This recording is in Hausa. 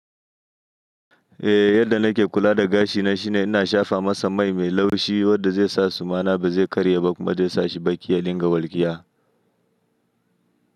Eh, yadda nake kula da gashi na shine ina shafa masa mai me laushi wanda zai sa su mana ba zai karye ba kuma zai sa shi baki ya linga walƙiya.